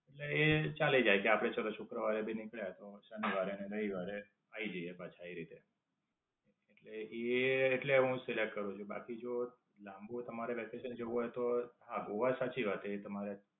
એટલે એ ચાલી જાય કે આપડે ચાલો શુક્રવારે ભી નીકળ્યા તો શનિવારે ને રવિવારે આઈ જઇયે પાછા એ રીતે એટલે એ એટલે હું select કરું છું બાકી જો લાબું તમારે વેકેશન જવું હોય તો આ ગોવા સાચી વાત છે એ તમારે.